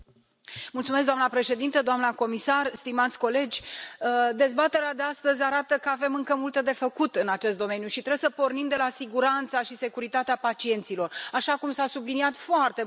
Doamna președintă, doamna comisar, stimați colegi, dezbaterea de astăzi arată că avem încă multe de făcut în acest domeniu și trebuie să pornim de la siguranța și securitatea pacienților, așa cum s a subliniat foarte mult aici.